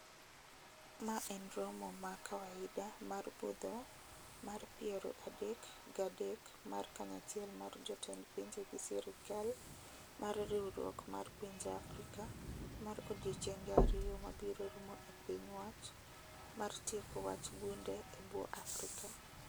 ma en romo ma kawaida mar budho mar piero adek ga adek mar kanyachiel mar jotend pinje gi serikal mar riwruok mar pinje Afrika mar odiechenge ariyo mabiro rumo e piny wach mar tieko wach bunde e bwo Afrika.